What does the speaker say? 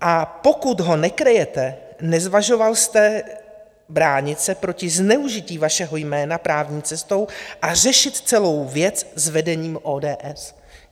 A pokud ho nekryjete, nezvažoval jste bránit se proti zneužití vašeho jména právní cestou a řešit celou věc s vedením ODS?